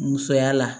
Musoya la